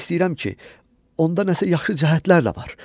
Yəni demək istəyirəm ki, onda nəsə yaxşı cəhətlər də var.